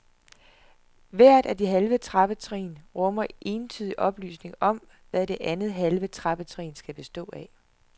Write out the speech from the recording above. Hvert af de halve trappetrin rummer entydig oplysning om, hvad det andet halve trappetrin skal bestå af.